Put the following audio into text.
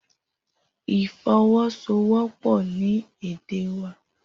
Ifọwọsowọpọ ni ede wa